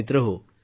मित्रहो